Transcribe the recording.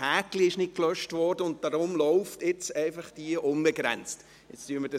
Dieses Häkchen wurde nicht gelöscht, weshalb nun diese Abstimmung einfach unbegrenzt weiterläuft.